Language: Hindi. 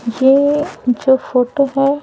ये जो फोटो हैं।